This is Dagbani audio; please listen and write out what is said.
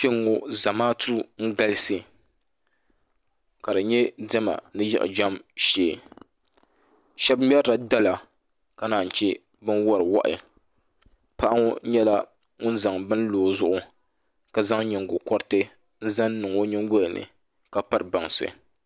Kpɛŋŋo zamaatu n galisi ka di nyɛ diɛma ni yiɣijɛm shee shab ŋmɛrila dala ka naan chɛ bin wori wahi paɣa ŋo nyɛla ŋun zaŋ bini n lo o zuɣu ka zaŋ nyingokoriti n zaŋ lo o nyingoli ni ka piri bansi